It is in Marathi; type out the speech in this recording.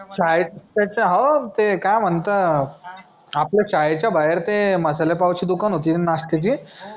शाळेत त्याच्या हो ते काय म्हणतात आपल्या शाळेच्या बाहेर ते मसाले पावची दुकान होती ना नाश्त्याची